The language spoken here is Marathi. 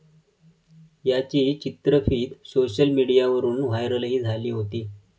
याची चित्रफीत सोशल मिडियावरून व्हायरलही झाली होती.